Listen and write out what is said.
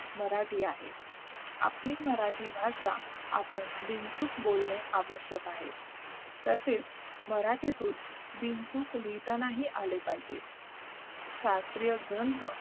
मराठी आहे आपली मराठी भाषा आपण बिनचूक बोलणे आवश्यक आहे तसेच मराठीतून बिनचूक लिहिता ही आले पाहिजे शास्त्रीय ग्रंथ